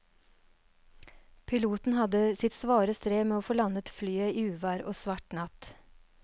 Piloten hadde sitt svare strev med å få landet flyet i uvær og svart natt.